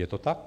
Je to tak?